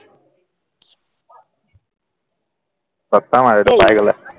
খটম আৰু এইটো পাই গলে